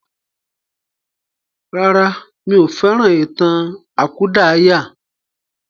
Rárá, mí ò fẹ́ràn ìtàn àkúdàáyà.